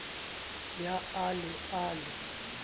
ya a le e le